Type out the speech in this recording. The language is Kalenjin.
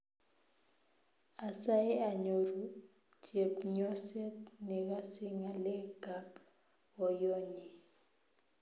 Asae anyoru chepnyoset negase ngalek kab boyonyi